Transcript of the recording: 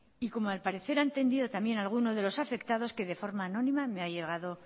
y como al parecer ha entendido alguno de los afectados que de forma anónima